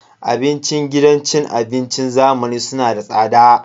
Abincin gidan cin abincin zamani suna da tsada.